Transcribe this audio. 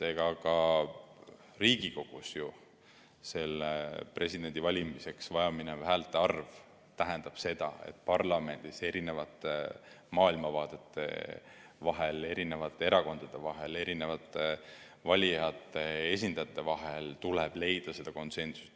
Ka Riigikogus ju presidendi valimiseks vajaminev häälte arv tähendab seda, et parlamendis erinevate maailmavaadete vahel ja erinevate erakondade vahel ja erinevate valijate esindajate vahel tuleb leida konsensus.